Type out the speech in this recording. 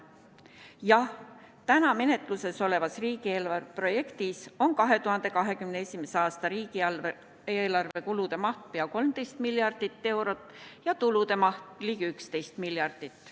Jah, täna menetlusel olevas riigieelarve projektis on 2021. aasta riigieelarve kulude maht pea 13 miljardit eurot ja tulude maht ligi 11 miljardit.